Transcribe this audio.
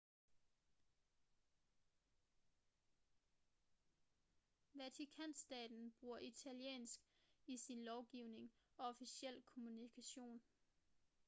vatikanstaten bruger italiensk i sin lovgivning og officiel kommunikation